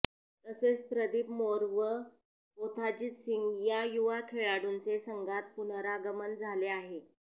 तसेच प्रदीप मोर व कोथाजित सिंग या युवा खेळाडूंचे संघात पुनरागमन झाले आहे